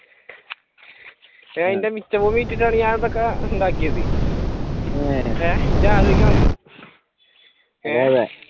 എന്റെ മിച്ച ഭൂമി വെച്ചിട്ടാണ് ഞാനിതൊക്കെ ഇതാക്കിയത് ഇജ്ജ് ആലോചിക്കണം അത്